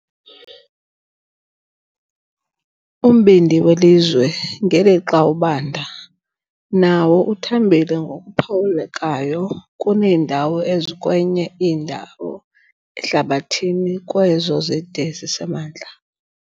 Umbindi welizwe, ngelixa ubanda, nawo uthambile ngokuphawulekayo kuneendawo ezikwenye indawo ehlabathini kwezo zide zisemantla.